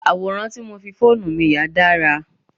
Àwòrán tí mo fi fóònù mi yà dára.